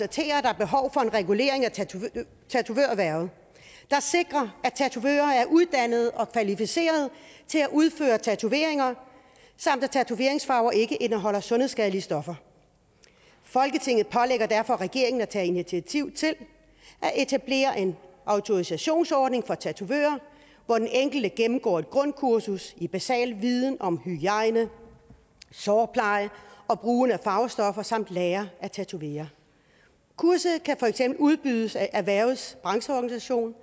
og en regulering af tatovørerhvervet der sikrer at tatovører er uddannede og kvalificerede til at udføre tatoveringer samt at tatoveringsfarver ikke indeholder sundhedsskadelige stoffer folketinget pålægger derfor regeringen at tage initiativ til at etablere en autorisationsordning af tatovører hvor den enkelte gennemgår et grundkursus i basal viden om hygiejne sårpleje og brugen af farvestoffer samt lærer at tatovere kurset kan for eksempel udbydes af erhvervets brancheorganisation